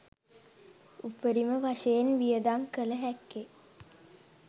උපරිම වශයෙන් වියදම් කළ හැක්කේ